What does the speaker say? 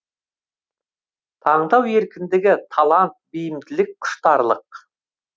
таңдау еркіндігі талант бейімділік құштарлық